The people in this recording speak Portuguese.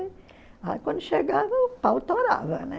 Aí quando chegava, o pau torava, né?